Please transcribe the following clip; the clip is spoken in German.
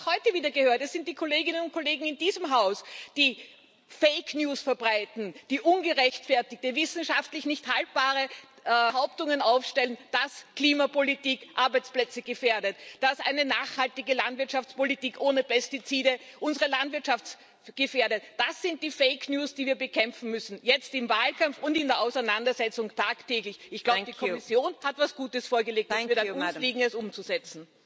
Denn wir haben es auch heute wieder gehört Das sind die Kolleginnen und Kollegen in diesem Haus, die Fake News verbreiten, die ungerechtfertigte, wissenschaftlich nicht haltbare Behauptungen aufstellen, dass Klimapolitik Arbeitsplätze gefährdet, dass eine nachhaltige Landwirtschaftspolitik ohne Pestizide unsere Landwirtschaft gefährdet. Das sind die Fake News, die wir bekämpfen müssen jetzt im Wahlkampf und in der Auseinandersetzung tagtäglich. Ich glaube, die Kommission hat etwas Gutes vorgelegt. Es wird an uns liegen, es umzusetzen.